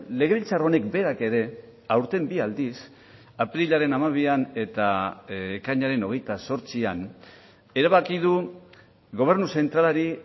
legebiltzar honek berak ere aurten bi aldiz apirilaren hamabian eta ekainaren hogeita zortzian erabaki du gobernu zentralari